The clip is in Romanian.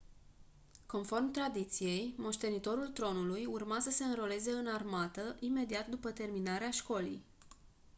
conform tradiției moștenitorul tronului urma să se înroleze în armată imediat după terminarea școlii